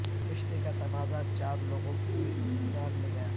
رشتے کا تنازع چار لوگوں کی جان لے گیا